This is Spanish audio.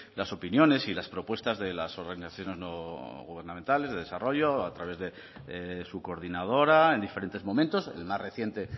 las opiniones y las propuestas de las organizaciones no gubernamentales de desarrollo a través de su coordinadora en diferentes momentos el más reciente